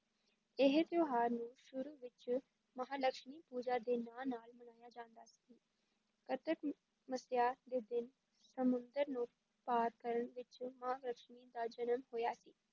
ਇਹ ਤਿਉਹਾਰ ਨੂੰ ਸ਼ੁਰੂ ਵਿੱਚ ਮਹਾਂ ਲਕਸ਼ਮੀ ਪੂਜਾ ਦੇ ਨਾਂ ਨਾਲ ਮਨਾਇਆ ਜਾਂਦਾ ਸੀ ਕੱਤਕ ਮੱਸਿਆ ਦੇ ਦਿਨ ਸਮੁੰਦਰ ਨੂੰ ਪਾਰ ਕਰਨ ਪਿੱਛੋਂ ਮਹਾਂਲਕਸ਼ਮੀ ਦਾ ਜਨਮ ਹੋਇਆ ਸੀ।